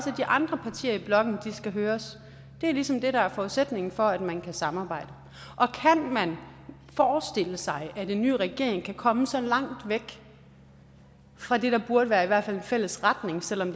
de andre partier i blokken skal høres det er ligesom det der er forudsætningen for at man kan samarbejde kan man forestille sig at en ny regering kan komme så langt væk fra det der burde være i hvert fald en fælles retning selv om